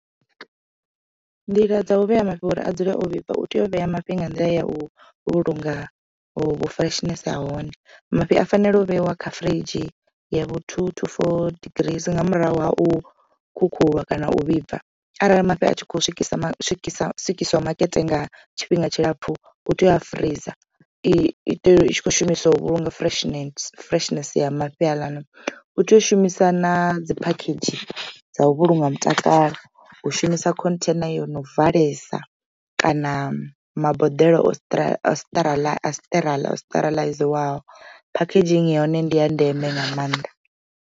Nḓila dza u vhea mafhi uri a dzule o vhibva u tea u vhea mafhi nga nḓila ya u vhulunga vhu freshness ha hone mafhi a fanela u vheiwa kha firidzhi yavho tutu for digiri nga murahu ha u khukhulwa kana u vhibva arali mafhi a tshi kho swikiswa makete nga tshifhinga tshilapfu u tea u freezor i itela i tshi kho shumisa u vhulunga freshness ya mafhi haaḽani. U tea u shumisa na dzi phakhedzhi dzavu vhulunga mutakalo u shumisa khontheina yo no valelisa kana maboḓelo sterilize packeging ya hone ndi ya ndeme nga maanḓa.